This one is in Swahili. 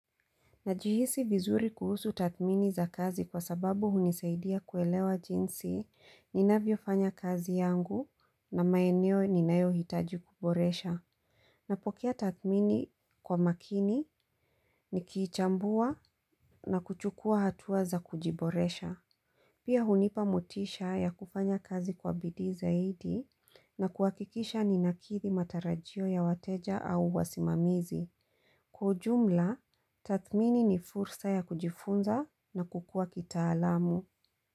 Najihisi vizuri kuhusu tathmini za kazi kwa sababu hunisaidia kuelewa jinsi ninavyofanya kazi yangu na maeneo ninayohitaji kuboresha. Napokea tathmini kwa makini nikichambua na kuchukua hatua za kujiboresha. Pia hunipa motisha ya kufanya kazi kwa bidii zaidi na kuhakikisha ninakidhi matarajio ya wateja au wasimamizi. Kwa ujumla, tathmini ni fursa ya kujifunza na kukua kitaalamu.